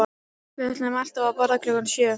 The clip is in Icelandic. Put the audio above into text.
Við ætluðum alltaf að borða klukkan sjö